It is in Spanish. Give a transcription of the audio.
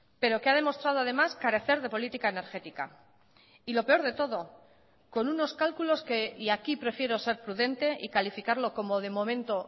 pero que ha demostrado además carecer de política energética y lo peor de todo con unos cálculos y aquí prefiero ser prudente y calificarlo como de momento